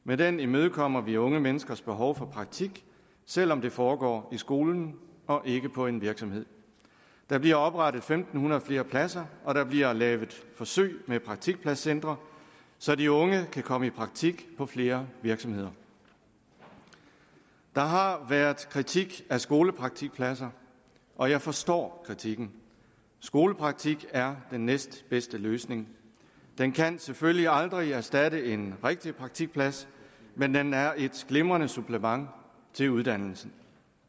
med den imødekommer vi unge menneskers behov for praktik selv om det foregår i skolen og ikke på en virksomhed der bliver oprettet fem hundrede flere pladser og der bliver lavet forsøg med praktikpladscentre så de unge kan komme i praktik på flere virksomheder der har været kritik af skolepraktikpladser og jeg forstår kritikken skolepraktik er den næstbedste løsning den kan selvfølgelig aldrig erstatte en rigtig praktikplads men den er et glimrende supplement til uddannelsen